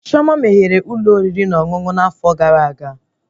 Chioma meghere Ụlọ oriri na ọṅụṅụ na afo gara aga